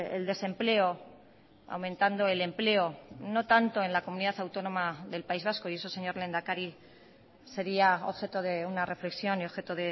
el desempleo aumentando el empleo no tanto en la comunidad autónoma del país vasco y eso señor lehendakari sería objeto de una reflexión y objeto